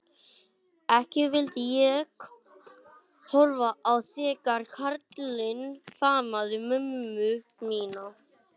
Ekki vildi ég horfa á þegar kallinn faðmaði mömmu mína.